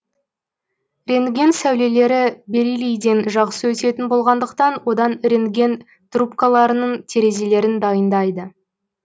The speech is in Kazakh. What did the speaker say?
рентген сәулелері бериллийден жақсы өтетін болғандықтан одан рентген трубкаларының терезелерін дайындайды